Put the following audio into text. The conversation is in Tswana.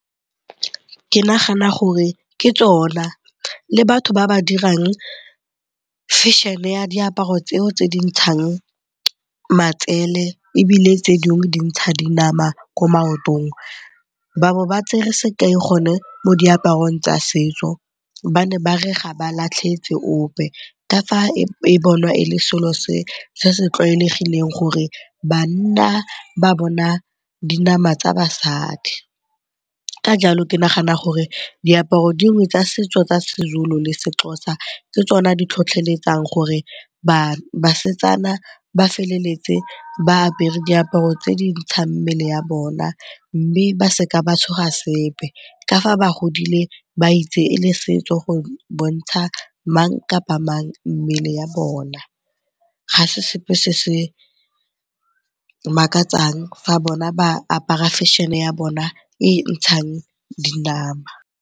Ke nagana gore ke tsona le batho ba ba dirang fashion-e ya diaparo tseo tse di ntshang matsele ebile tse dingwe di ntsha dinama ko maotong. Ba bo ba tsere sekai gone mo diaparong tsa setso, ba ne ba re ga ba latlhetse ope ka fa e bonwa e le selo se se tlwaelegileng gore banna ba bona dinama tsa basadi. Ka jalo ke nagana gore diaparo dingwe tsa setso tsa seZulu le seXhosa ke tsona di tlhotlheletsang gore basetsana ba feleletse ba apere diaparo tse di ntshang mmele ya bona mme ba se ka ba tshoga sepe ka fa ba godile ba itse e le setso go bontsha mang kapa mang mmele ya bona. Ga se sepe se se makatsang fa bona ba apara fashion-e ya bona e e ntshang dinama.